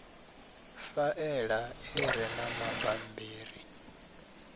faela i re na mabammbiri